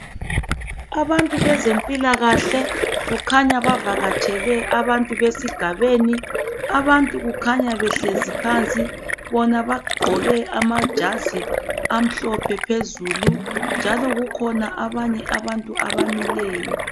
Abantu bezempilakahle kukhanya bavakatshele abantu besigabeni. Abantu kukhanya behlezi phansi, bona bakhanya begqoke amajazi amhlophe phezulu njalo kukhona abanye abantu abamileyo.